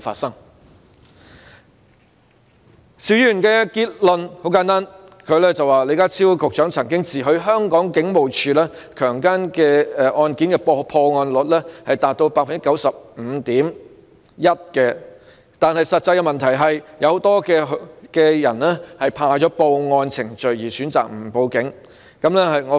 邵議員的結論很簡單，他說李家超局長曾自詡香港警務處處理強姦案件的破案率達到 95.1%， 但實際上有很多受害人因為害怕經歷報案程序而選擇不報案。